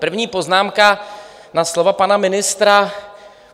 První poznámka na slova pana ministra.